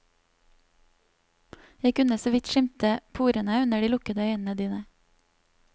Jeg kunne såvidt skimte porene under de lukkede øynene dine.